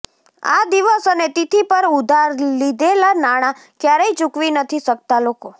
આ દિવસ અને તિથિ પર ઉધાર લીધેલા નાણાં ક્યારેય ચુકવી નથી શકતાં લોકો